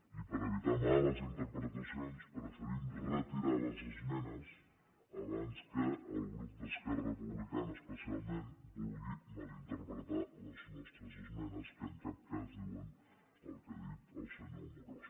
i per evitar males interpretacions preferim retirar les esmenes abans que el grup d’esquerra republicana especialment vulgui mal interpretar les nostres esmenes que en cap cas diuen el que ha dit el senyor amorós